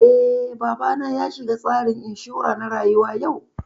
Eh, babana ya shiga tsarin inshura na rayuwa yau